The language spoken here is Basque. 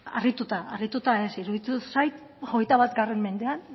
harrituta harrituta ez iruditu zait hogeita bat mendean